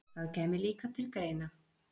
Það kæmi líka til greina.